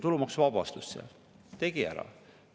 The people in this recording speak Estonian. Tulumaksuvabastus – tegi ära.